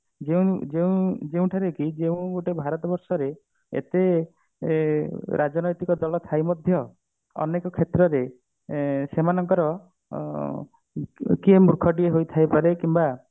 ଯେଉଁ ଯେଉଁ ଯେଉଠାରେ କି ଯେଉଁ ଗୋଟେ ଭାରତ ବର୍ଷରେ ଏତେ ଏ ରାଜନୈତିକ ଦଳ ଥାଇ ମଧ୍ୟ ଅନେକ କ୍ଷେତ୍ରରେ ଆଁ ସେମାନଙ୍କର ଆଁ କିଏ ମୂର୍ଖ ଟିଏ ହେଇଥାଇ ପାରେ କିମ୍ବା